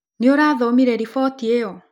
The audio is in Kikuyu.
nĩũrathomire riboti ĩyo